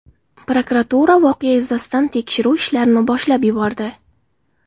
Prokuratura voqea yuzasidan tekshiruv ishlarini boshlab yubordi.